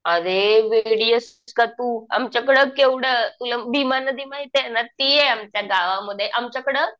अरे वेडी एस का तू? आमच्याकडं केवढं तुला भीमा नदी माहितीये ना ती आहे आमच्यागावमध्ये